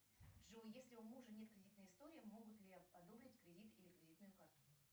джой если у мужа нет кредитной истории могут ли одобрить кредит или кредитную карту